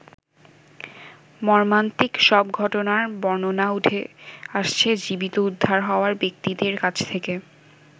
মর্মান্তিক সব ঘটনার বর্ণনা উঠে আসছে জীবিত উদ্ধার হওয়া ব্যক্তিদের কাছ থেকে।